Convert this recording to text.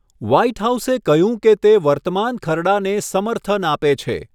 White હાઉસે કહ્યું કે તે વર્તમાન ખરડાને સમર્થન આપે છે.